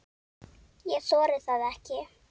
Ég þori það ekki.